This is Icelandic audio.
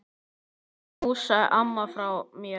Knúsaðu ömmu frá mér.